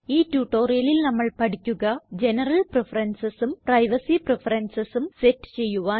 ഈ tutorialല് നമ്മള് പഠിക്കുക ജനറൽ preferencesഉം പ്രൈവസി preferencesഉം സെറ്റ് ചെയ്യുവാൻ